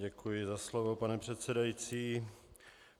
Děkuji za slovo, pane předsedající.